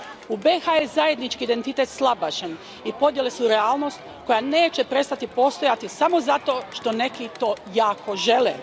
U BiH je zajednički identitet slabašan i podjele su realnost koja neće prestati postojati samo zato što neki to jako žele.